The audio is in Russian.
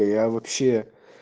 я вообще